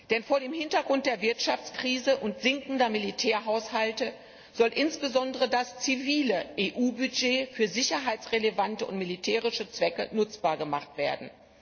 Denn vor dem Hintergrund der Wirtschaftskrise und sinkender Militärhaushalte soll insbesondere das zivile EU Budget für sicherheitsrelevante und militärische Zwecke nutzbar gemacht werden.